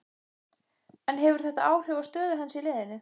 En hefur þetta áhrif á stöðu hans í liðinu?